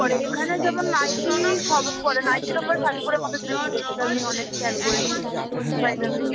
পরে এখানে যেমন নাইটি সব পরে নাইটির ওপরে শাড়ি পড়ে মানুষ বেরিয়ে যায় সেটা আমি অনেক খেয়াল করেছি by the way.